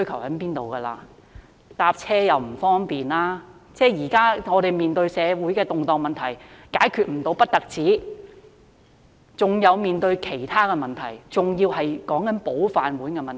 市民現時乘車出行不方便，我們面對的社會動盪問題不但無法解決，還要面對其他問題，甚至是"保飯碗"的問題。